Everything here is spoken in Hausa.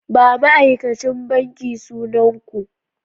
Ba ma'aikacin banki sunan ku!